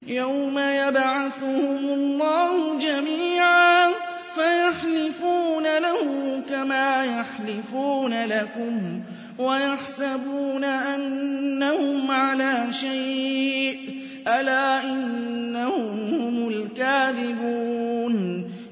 يَوْمَ يَبْعَثُهُمُ اللَّهُ جَمِيعًا فَيَحْلِفُونَ لَهُ كَمَا يَحْلِفُونَ لَكُمْ ۖ وَيَحْسَبُونَ أَنَّهُمْ عَلَىٰ شَيْءٍ ۚ أَلَا إِنَّهُمْ هُمُ الْكَاذِبُونَ